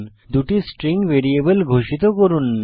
2 টি string variable ঘোষিত করুন